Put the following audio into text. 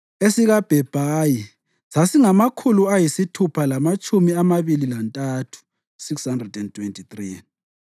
esikaBhebhayi sasingamakhulu ayisithupha lamatshumi amabili lantathu (623),